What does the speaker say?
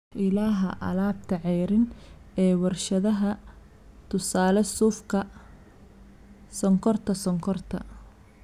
Ilaha alaabta ceeriin ee warshadaha (tusaale suufka, sonkorta sonkorta).